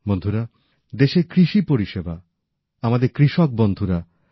বন্ধুরা দেশের কৃষি পরিষেবা আমাদের কৃষক বন্ধুরা আমাদের গ্রাম আত্মনির্ভর ভারতের প্রধান শক্তি